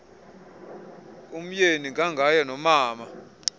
umeyi ngangaye nomama